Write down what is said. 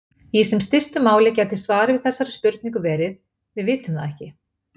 Í sem stystu máli gæti svarið við þessari spurningu verið: Við vitum það ekki.